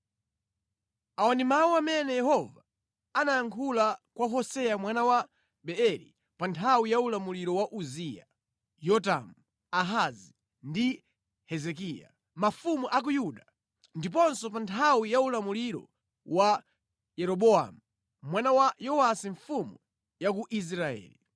Awa ndi mawu amene Yehova anayankhula kwa Hoseya mwana wa Beeri pa nthawi ya ulamuliro wa Uziya, Yotamu, Ahazi ndi Hezekiya, mafumu a ku Yuda ndiponso pa nthawi ya ulamuliro wa Yeroboamu mwana wa Yowasi mfumu ya ku Israeli.